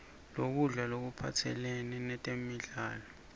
lokudla lokuphathelane nemidlo